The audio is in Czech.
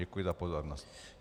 Děkuji za pozornost.